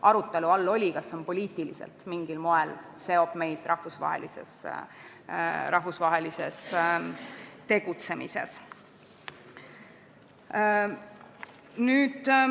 Arutelu all oli, kas see poliitiliselt seob meid mingil moel rahvusvahelises tegutsemises.